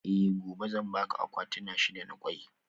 Eh gobe zan baka akwatuna shida na kwai